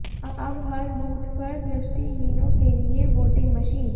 अब हर बूथ पर दृष्टिहीनों के लिए वोटिंग मशीन